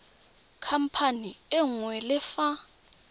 khamphane e nngwe le fa